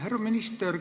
Härra minister!